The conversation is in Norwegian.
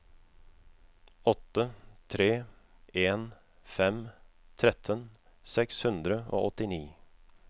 åtte tre en fem tretten seks hundre og åttini